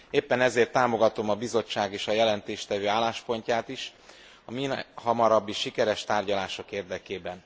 Éppen ezért támogatom a Bizottság és az előadó álláspontját is, a mihamarabbi sikeres tárgyalások érdekében.